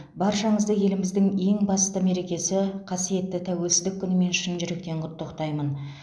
баршаңызды еліміздің ең басты мерекесі қасиетті тәуелсіздік күнімен шын жүректен құттықтаймын